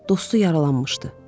Dostu yaralanmışdı.